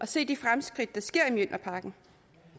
se de fremskridt der sker i mjølnerparken